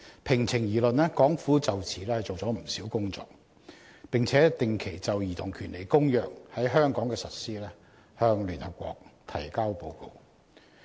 平情而論，港府就此做了不少工作，並且定期就《兒童權利公約》在香港的實施向聯合國提交報告。